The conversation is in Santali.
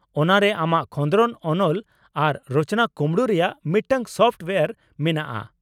ᱚᱱᱟ ᱨᱮ ᱟᱢᱟᱜ ᱠᱷᱚᱸᱫᱽᱨᱚᱱ ᱚᱱᱚᱞ ᱟᱨ ᱨᱚᱪᱚᱱᱟ ᱠᱩᱢᱲᱩ ᱨᱮᱭᱟᱜ ᱢᱤᱫᱴᱟᱝ ᱥᱚᱯᱷᱴ ᱳᱭᱟᱨ ᱢᱮᱱᱟᱜᱼᱟ ᱾